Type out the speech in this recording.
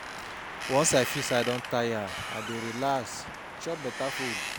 Once I feel sey I don tire, I dey relax, chop beta food.